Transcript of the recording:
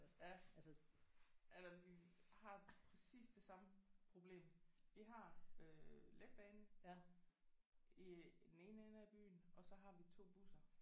Ja jamen vi har præcis det samme problem vi har øh letbanen i den ene ende af byen og så har vi 2 busser